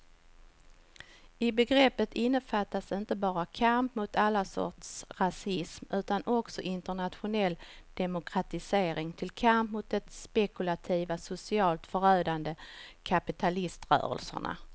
I begreppet innefattas inte bara kamp mot all sorts rasism utan också internationell demokratisering till kamp mot de spekulativa, socialt förödande kapitalrörelserna.